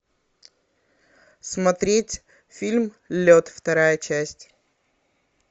смотреть фильм лед вторая часть